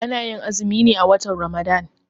Ana yin azumi ne a watan Ramadan